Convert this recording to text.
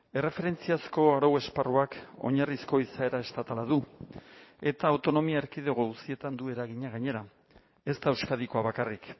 erreferentziazko arau esparruak oinarrizko izaera estatala du eta autonomia erkidego guztietan du eragina gainera ez da euskadikoa bakarrik